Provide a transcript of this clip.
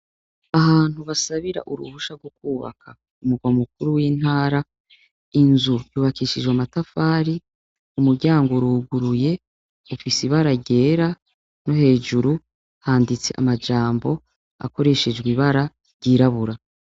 Ahantu basabira uruhusha rwo kwubaka kumurwa mukuru w’intara, inzu yubakishije amatafari, umuryango uruguruye ufise ibara ryera , hejuru yanditse amajambo akoreshejwe ibara ryirabura .